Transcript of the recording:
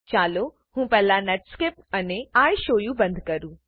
ચાલો હું પહેલા નેટસ્કેપ અને ઇશોવુ બંધ કરું